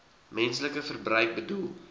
menslike verbruik bedoel